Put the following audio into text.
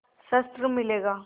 शस्त्र मिलेगा